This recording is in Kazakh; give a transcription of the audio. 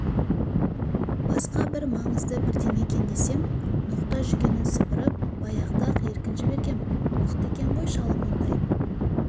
басқа бір маңызды бірдеңе екен десем ноқта-жүгенін сыпырып баяғыда-ақ еркін жібергем мықты екен ғой шалым ондай